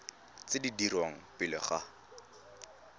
tse di dirwang pele ga